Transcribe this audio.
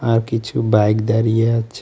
আর কিছু বাইক দাঁড়িয়ে আছে।